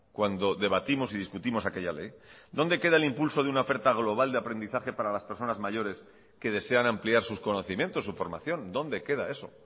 cuando debatimos y discutimos aquella ley dónde queda el impulso de una oferta global de aprendizaje para las personas mayores que desean ampliar sus conocimientos su formación dónde queda eso